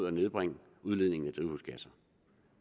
at nedbringe udledningen af drivhusgasser